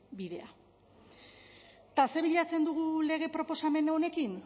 bidea eta zer bilatzen dugu lege proposamen honekin